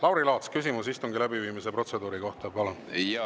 Lauri Laats, küsimus istungi läbiviimise protseduuri kohta, palun!